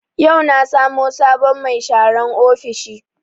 Yau na samo sabon mai sharan ofishi